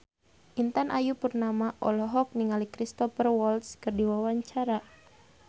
Intan Ayu Purnama olohok ningali Cristhoper Waltz keur diwawancara